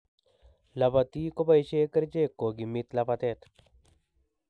Lapatik koboisie kerchek kokimit lapatet